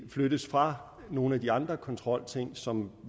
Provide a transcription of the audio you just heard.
flyttes fra nogle af de andre kontrolting som